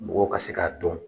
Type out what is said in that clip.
Mɔgɔw ka se k'a dɔn.